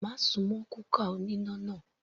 Má súnmọ́ kúkà oníná náà.